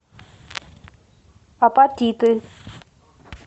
апатиты